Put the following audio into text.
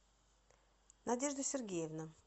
надежда сергеевна